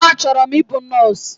Achọrọ m ịbụ nọọsụ